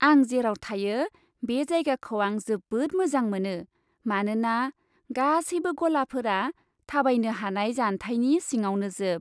आं जेराव थायो बे जायगाखौ आं जोबोद मोजां मोनो, मानोना गासैबो गलाफोरा थाबायनो हानाय जानथायनि सिङावनोजोब।